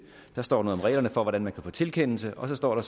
står der noget om reglerne for hvordan man kan få tilkendelse og så står der